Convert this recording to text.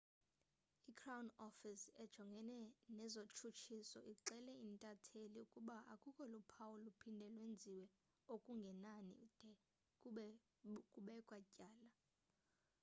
i-crown office ejongene nezotshutshiso ixele intatheli ukuba akukho luphawu luphinde lwenziwe okungenani de kube kubekwa tyala